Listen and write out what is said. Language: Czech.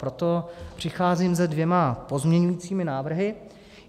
Proto přicházím se dvěma pozměňovacími návrhy.